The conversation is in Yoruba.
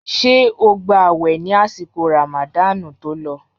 Ṣé o gba àwẹ̀ ní àsìkò ràmàdáànù tó lọ?